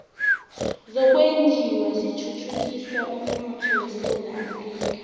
zokwenjiwa zithuthukisa umnotho esewula afrika